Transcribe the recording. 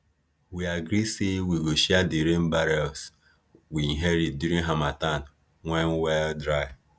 we agree say we go share di rain barrels we inherit during harmattan when well dry